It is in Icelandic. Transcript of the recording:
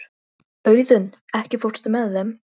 Ásrún, stilltu tímamælinn á níutíu og tvær mínútur.